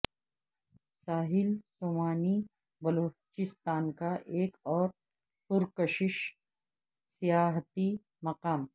ساحل سومیانی بلوچستان کا ایک اور پرکشش سیاحتی مقام